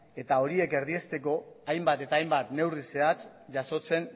eta horiek erdiesteko hainbat eta hainbat neurri zehatz jasotzen